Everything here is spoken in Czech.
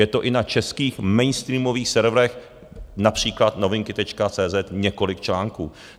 Je to i na českých mainstreamových serverech, například Novinky.cz několik článků.